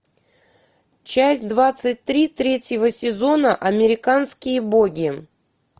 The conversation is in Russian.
часть двадцать три третьего сезона американские боги